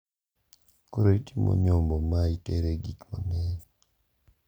Koro itimo nyombo ma itere gik mang`eny.